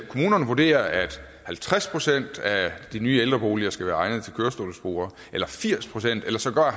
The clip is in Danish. kommunerne vurderer at halvtreds procent af de nye ældreboliger skal være egnede til kørestolsbrugere eller firs procent eller sågar